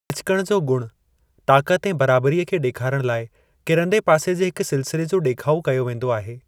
लिचिकण जो गुणु, ताक़त ऐं बराबरीअ खे ॾेखारण लाइ किरंदे पासे जे हिकु सिलसिले जो ॾेखाउ कयो वेंदो आहे।